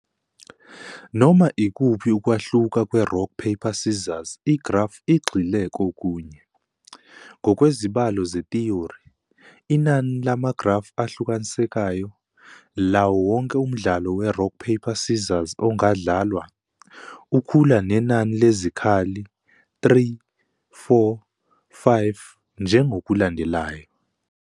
Noma ikuphi ukwahluka kwe-Rock Paper Scissors igrafu egxile kokunye. Ngokwezibalo zethiyori, inani lamagrafu ahlukanisekayo, lawo wonke umdlalo weRock Paper Scissors ongadlalwa, ukhula nenani lezikhali 3, 4, 5, njengokulandelayo.